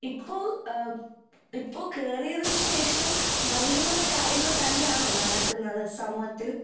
ഇപ്പൊ ആ ഇപ്പൊ കേറിയതിനു ശേഷം നല്ല നല്ല കാര്യങ്ങള് തന്നെയാണോ നടക്കുന്നത് സമൂഹത്തിൽ